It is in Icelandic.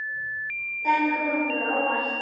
Þetta kom okkur á óvart.